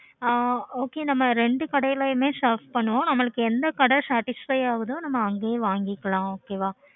ஆஹ் okay நம்ம ரெண்டு கடைலயுமே shop பண்ணுவோம் எந்த கடை satisfy ஆகுதோ அந்த கடையிலேயே நம்ம வாங்கிப்போம் okay வா